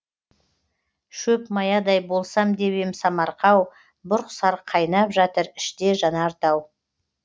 шөп маядай болсам деп ем самарқау бұрқ сарқ қайнап жатыр іште жанар тау